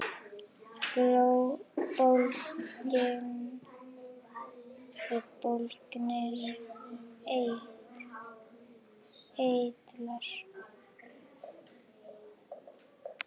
Bólgnir eitlar